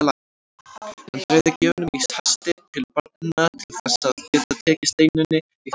Hann dreifði gjöfunum í hasti til barnanna til þess að geta tekið Steinunni í fangið.